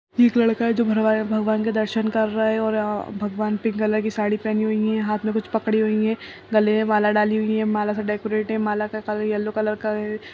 एक लड़का है जो भरवा है भगवान के दर्शन कर रहा है और यहाँ भगवान ने पिंक कलर की साड़ी पहनी हुई है हाथ में कुछ पकड़ी हुई है गले में माला डाली हुई है माला से डेकोरेट है माला का कलर येलो कलर का है।